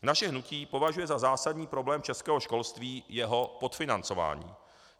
Naše hnutí považuje za zásadní problém českého školství jeho podfinancování.